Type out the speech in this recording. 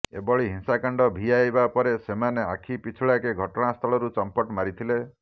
ଏଭଳି ହିଂସାକାଣ୍ଡ ଭିଆଇବା ପରେ ସେମାନେ ଆଖି ପିଛୁଳାକେ ଘଟଣାସ୍ଥଳରୁ ଚମ୍ପଟ୍ ମାରିଥିଲେ